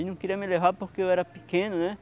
Ele não queria me levar porque eu era pequeno, né?